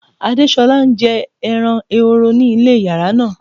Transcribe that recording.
Adéṣọla n jẹ́ èrán èhòró ní ilẹ̀ yàrá náà.